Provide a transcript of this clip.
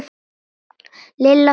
Lilla fór út.